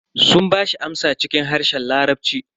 Sun bashi amsa cikin harshen larabci.